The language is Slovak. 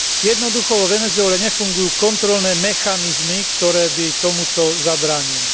Jednoducho vo Venezuele nefungujú kontrolné mechanizmy, ktoré by tomuto zabránili.